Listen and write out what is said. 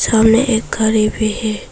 सामने एक गाड़ी भी है।